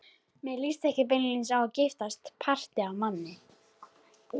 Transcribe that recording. Mér líst ekki beinlínis á að giftast parti af manni.